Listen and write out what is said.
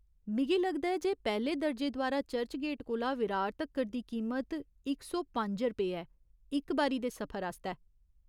मिगी लगदा ऐ जे पैह्‌ले दर्जे द्वारा चर्चगेट कोला विरार तक्कर दी कीमत इक सौ पंज रुपेऽ ऐ, इक बारी दे सफर आस्तै।